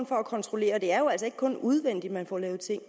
for at kontrollere og det er jo altså ikke kun udvendigt man får lavet ting